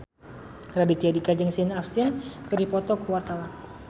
Raditya Dika jeung Sean Astin keur dipoto ku wartawan